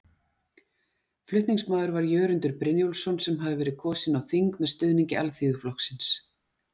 Flutningsmaður var Jörundur Brynjólfsson sem hafði verið kosinn á þing með stuðningi Alþýðuflokksins.